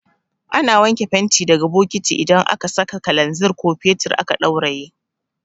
Ana wanke fenti daga bokati idan aka saka kalanzir ko fetur aka ɗauraye